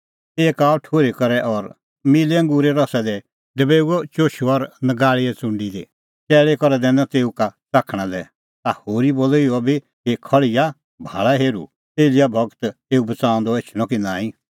एक आअ ठुर्ही करै और मिल्लै अंगूरे रसा दी डबेऊअ चुशू और नगाल़ीए च़ुंडी दी चैल़ी करै दैनअ तेऊ का च़ाखणा लै ता होरी बोलअ इहअ बी कि खल़्हिया भाल़ा हेरुं एलियाह गूर एऊ बच़ाऊंदअ एछणअ कि नांईं